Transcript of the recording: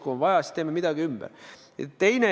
Kui on vaja, siis teeme midagi ümber.